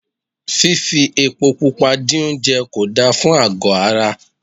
Fifi epo púpò dín oúnjẹ kò da fún àgọ́ ara.